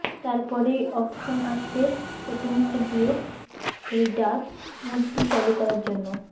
তারপরেই অপশন আসবে সেটিংসে গিয়ে এই ডার্ক মোডটি চালু করার জন্য